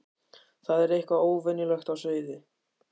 Það var eitthvað óvenjulegt á seyði.